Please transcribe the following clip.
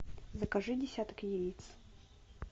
закажи десяток яиц